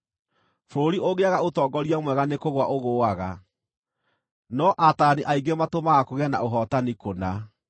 Bũrũri ũngĩaga ũtongoria mwega nĩkũgũa ũgũũaga, no ataarani aingĩ matũmaga kũgĩe na ũhootani kũna.